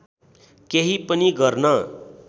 केही पनि गर्न